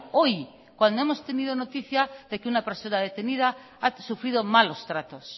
hoy cuando hemos tenido noticia de que una persona detenida ha sufrido malos tratos